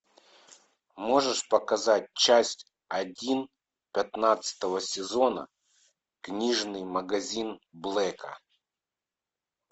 можешь показать часть один пятнадцатого сезона книжный магазин блэка